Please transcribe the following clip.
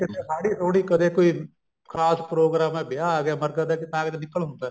ਹਾੜੀ ਹੁੜੀ ਕਰੇ ਕੋਈ ਖਾਸ program ਏ ਵਿਆਹ ਆ ਗਿਆ ਮਰਗਤ ਐ ਤਾਂ ਕਿਤੇ ਨਿਕੱਲ ਹੁੰਦਾ